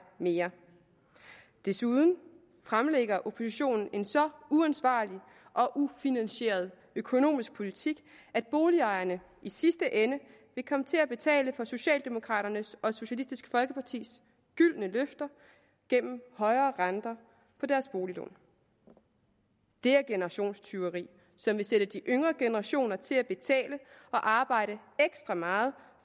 mere desuden fremlægger oppositionen en så uansvarlig og ufinansieret økonomisk politik at boligejerne i sidste ende vil komme til at betale for socialdemokraternes og socialistisk folkepartis gyldne løfter gennem højere renter på deres boliglån det er generationstyveri som vil sætte de yngre generationer til at betale og arbejde ekstra meget